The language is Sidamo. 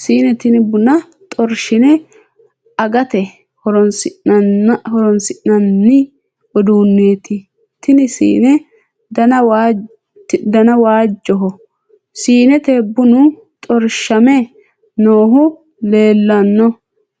Siine tinni bunna xorshi'ne agate horoonsi'nanni uduuneeti. Tenne siine danni waajoho. Siinete bunnu xorshame noohu leelano.